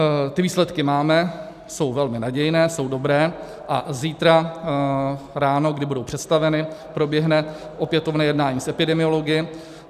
Ty výsledky máme, jsou velmi nadějné, jsou dobré a zítra ráno, kdy budou představeny, proběhne opětovné jednání s epidemiology.